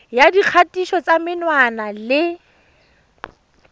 ya dikgatiso tsa menwana le